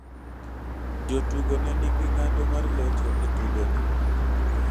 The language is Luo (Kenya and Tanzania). Jotugo ne niging'ado mar locho e tugoni.